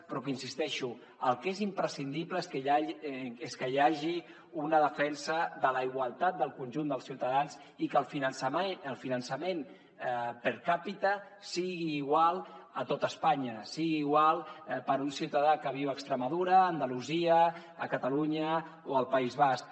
però hi insisteixo el que és imprescindible és que hi hagi una defensa de la igualtat del conjunt dels ciutadans i que el finançament per capita sigui igual a tota espanya sigui igual per a un ciutadà que viu a extremadu·ra a andalusia a catalunya o al país basc